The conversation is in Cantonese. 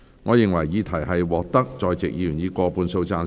我認為議題獲得在席議員以過半數贊成。